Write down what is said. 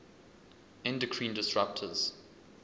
endocrine disruptors